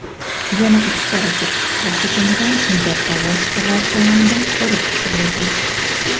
yana ikkita raketa havo hujumidan mudofaa vositalari tomonidan urib tushirilgan.